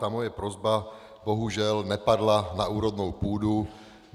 Ta moje prosba bohužel nepadla na úrodnou půdu.